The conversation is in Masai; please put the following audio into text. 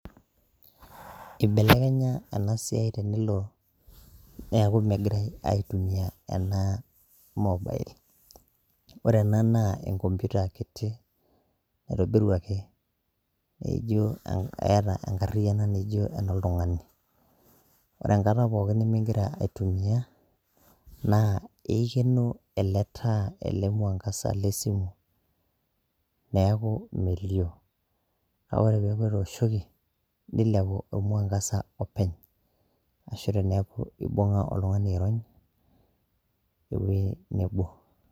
Ibelekenya enasiai tenelo, neeku megirai aitumia ena mobile. Ore ena naa enkompita kiti, naitobiruaki, eijo eeta enkarriyiano naijo enoltung'ani. Ore enkata pookin nimigira aitumia, naa eikeno ele taa, ele mwangaza lesimu, neeku melio. Kake ore peeku etooshoki, nilepu ormuangasa openy, ashu teneeku ibung'a oltung'ani airony, ewei nebo.